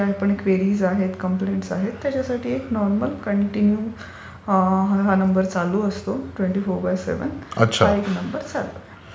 आणि एक नॉर्मल तुमच्या ज्या क्वेरीज आहेत, कम्प्लेंट्स आहेत त्याच्यासाठी नॉर्मल कांटीन्यू चालू राहणारा नंबर असतो ट्वेंटी फोर बाय सेव्हन. हा एक नंबर चालू राहतो.